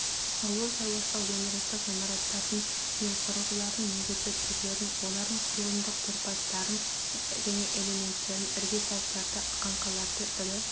ауыл шаруашылық өндірістік ғимараттардың мен құрылғылардың негізгі түрлерін олардың құрылымдық тұрпаттарын және элементтерін іргетастарды қаңқаларды ірі